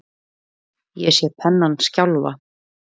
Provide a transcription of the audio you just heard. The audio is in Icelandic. Ég sé pennann skjálfa.